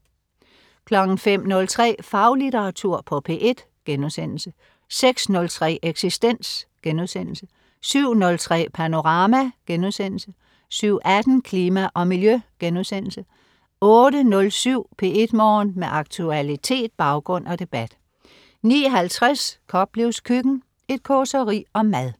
05.03 Faglitteratur på P1* 06.03 Eksistens* 07.03 Panorama* 07.18 Klima og Miljø* 08.07 P1 Morgen. Med aktualitet, baggrund og debat 09.50 Koplevs Køkken. Et causeri om mad